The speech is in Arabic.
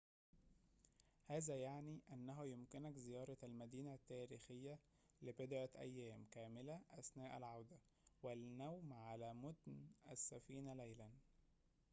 هذا يعني أنه يمكنك زيارة المدينة التاريخية لبضعةِ أيام كاملة أثناء العودة والنوم على متن السفينةِ ليلًا